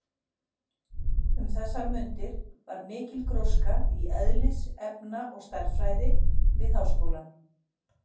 Um þessar mundir var mikil gróska í eðlis-, efna- og stærðfræði við háskólann.